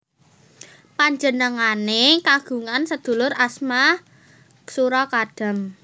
Panjenengane kagungan sedulur asma Sura Kadam